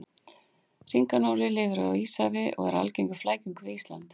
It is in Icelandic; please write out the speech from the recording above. Hringanóri lifir í Íshafi og er algengur flækingur við Ísland.